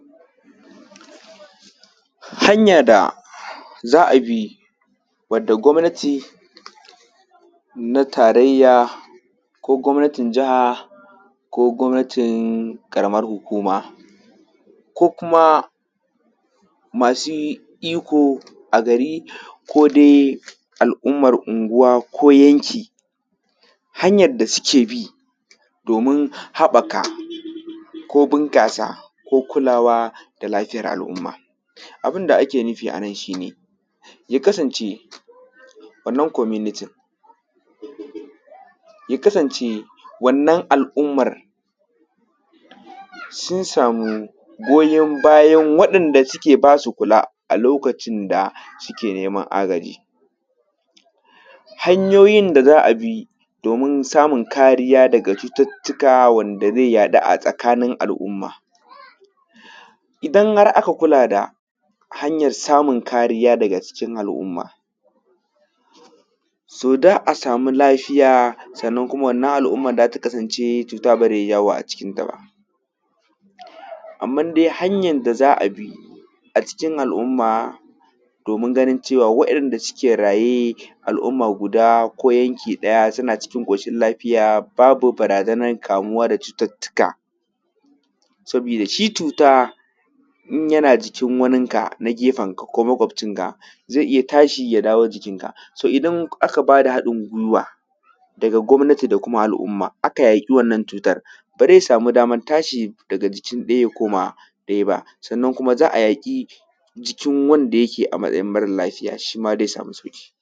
Hanya da za a bi wanda gwamnati na tarayya ko gwamnatin jiha ko gwamnatin ƙaraman hukuma ko kuma masu iko a gari ko dai al’ummar anguwa ko yanki, hanyan da suke bi domin haɓaka ko bunƙasa ko kulawa da lafiyan al’umma, abin da ake nufi a nan shi ne ya kasance wannan gwamnatin ya kasance wannan al’umman sun sama goyan bayan waɗanda suke ba su kula lokacin da suke neman agaji. Hanyoyin da za abi domin samun kariya daga cututtuka da ze yaɗu a tsakanin al’umma, idan har aka kula da hanyan samun kariya daga cikin al’umma, so za a samu lafiya sannan wannan al’umman za ta kasance cuta ba zai yawo a cikinta ba. Amman dai hanyan da za a bi a cikin al’umma domin ganin cewa wayanda suke raye a al’umma guda ko yanki ɗaya suna cikin ƙoshin lafiya babu barazanan kamuwa da cututtuka, sabi da shi cuta in yana jikin waninka na gefenka ko makwafcinka, zai iya tashi ya dawo jikinka. Idan aka bada haɗin gwiwa daga gwamnati da kuma al’umma aka yaƙi wannan cutan ba zai sama daman tashi daga jikin ɗaya ya koma ɗaya ba, sannan za a yaƙi jikin wanda yake a matsayin mara lafiya, shi ma zai sami sauƙi.